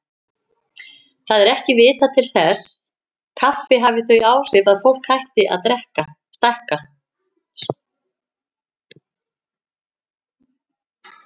Það er ekki vitað til þess kaffi hafi þau áhrif að fólk hætti að stækka.